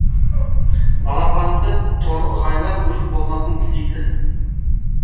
балапанды торғайлар өрт болмасын тілейді